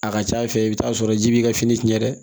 A ka ca ala fɛ i bɛ t'a sɔrɔ ji b'i ka fini tiɲɛ dɛ